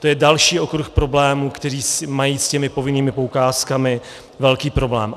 To je další okruh problémů, kde mají s těmi povinnými poukázkami velký problém.